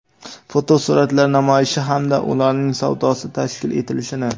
fotosuratlar namoyishi hamda ularning savdosi tashkil etilishini;.